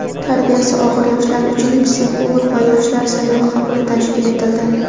tarbiyasi og‘ir yoshlar uchun "Psixolog va yoshlar" sayyor qabuli tashkil etildi.